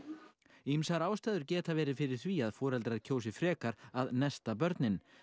ýmsar ástæður geta verið fyrir því að foreldrar kjósi frekar að nesta börnin